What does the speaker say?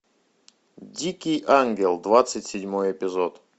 дикий ангел двадцать седьмой эпизод